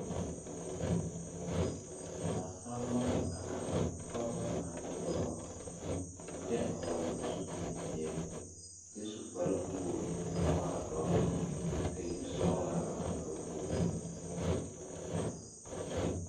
Naasalba la a are pɔgebɔ ane dɔbɔ, a kyɛ hɔgele zupil-peɛl kyɛ su kparewogri naŋ waa dɔr lɛ kyɛ ka yisɔgelaa a are ba puoriŋ.